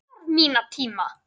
Ég þarf minn tíma.